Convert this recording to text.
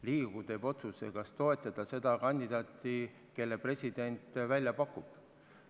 Riigikogu teeb otsuse, kas toetada seda kandidaati, kelle president välja pakub.